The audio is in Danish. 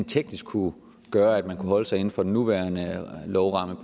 teknisk kunne gøre at man kunne holde sig inden for den nuværende lovramme